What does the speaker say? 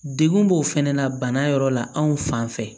Degun b'o fɛnɛ na bana yɔrɔ la anw fan fɛ